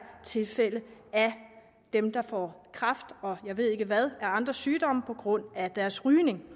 tilfælde af dem der får kræft og jeg ved ikke hvad af andre sygdomme på grund af deres rygning